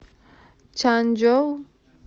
чанчжоу